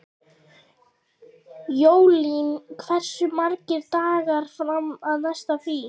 Jólín, hversu margir dagar fram að næsta fríi?